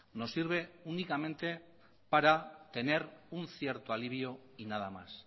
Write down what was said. nos sirve únicamente para tener un cierto alivio y nada más